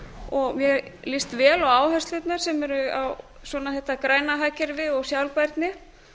og mér líst ve á áherslurnar sem eru á þetta græna hagkerfi og sjálfbærni